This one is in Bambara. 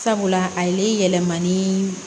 Sabula a ye yɛlɛma ni